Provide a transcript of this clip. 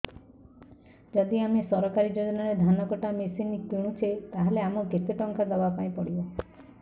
ଯଦି ଆମେ ସରକାରୀ ଯୋଜନାରେ ଧାନ କଟା ମେସିନ୍ କିଣୁଛେ ତାହାଲେ ଆମକୁ କେତେ ଟଙ୍କା ଦବାପାଇଁ ପଡିବ